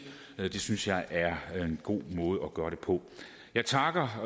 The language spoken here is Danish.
det synes jeg er en god måde at gøre det på jeg takker